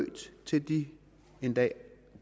til de en dag